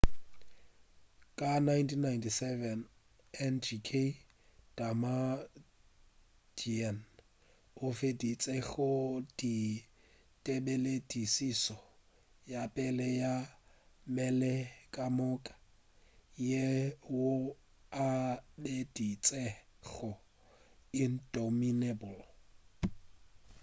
ka 1977 ngk damaduan o feditše go dira tebeledišišo ya pele ya mmele-ka moka yeo a e biditšego indomitable